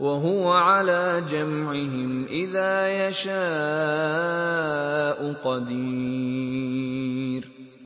وَهُوَ عَلَىٰ جَمْعِهِمْ إِذَا يَشَاءُ قَدِيرٌ